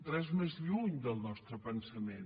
res més lluny del nostre pensament